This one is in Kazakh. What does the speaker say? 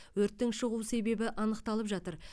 өрттің шығу себебі анықталып жатыр